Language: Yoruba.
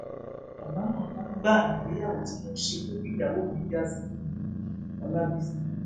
àbámọ ńlá gbáà nìgbéyàwó tí mo ṣe pẹlú ìyàwó mi já sí fún miolábìsí